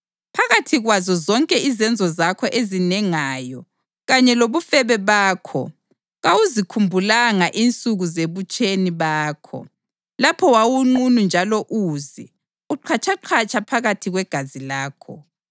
Phakathi kwazo zonke izenzo zakho ezinengayo kanye lobufebe bakho kawuzikhumbulanga insuku zebutsheni bakho, lapho wawunqunu njalo uze, uqhatshaqhatsha phakathi kwegazi lakho.